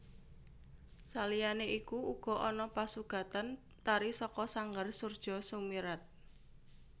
Saliyane iku uga ana pasugatan tari saka sanggar Soerjo Soemirat